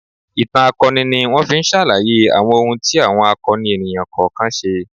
Ìtàn akọni ni wọ́n fi ń ṣàlàyé àwọn ohun tí àwọn akọni ènìyàn kọ̀ọ̀kan ṣe.